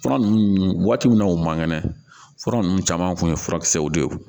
Fura ninnu waati min na u man kɛnɛ fura ninnu caman tun ye furakisɛw de ye